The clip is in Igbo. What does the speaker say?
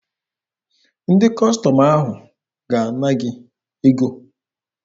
Ndị Kọstọm ahụ ga-ana gị ego